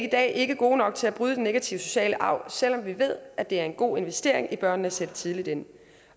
i dag ikke gode nok til at bryde den negative sociale arv selv om vi ved at det er en god investering i børnene at sætte tidligt ind